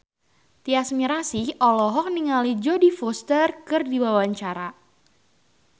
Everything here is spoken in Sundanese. Tyas Mirasih olohok ningali Jodie Foster keur diwawancara